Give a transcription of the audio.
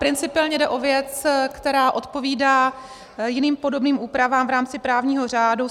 Principiálně jde o věc, která odpovídá jiným podobným úpravám v rámci právního řádu.